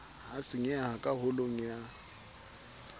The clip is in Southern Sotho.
ha senyeha ka holong ya